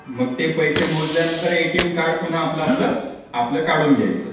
मग ते पैसे मोजल्यानंतर आपले एटीम कार्ड ते आपला आपला काढून घ्यायचा.